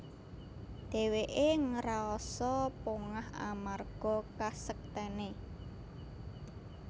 Dhèwèké ngrasa pongah amarga kasektèné